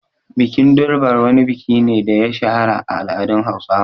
Bikin Durbar wani biki ne da ya shahara a al’adun Hausawa.